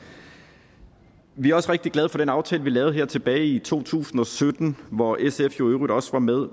vi er også rigtig glade for den aftale vi lavede her tilbage i to tusind og sytten hvor sf jo i øvrigt også var med